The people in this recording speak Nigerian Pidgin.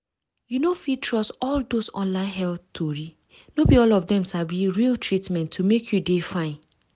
you no fit trust all dose online health tori no be all of dem sabi real treatment to make you dey fine.